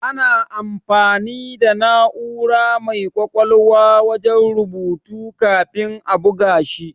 Ana amfani da na'ura mai ƙwaƙwalwa wajen rubutu kafin a buga shi.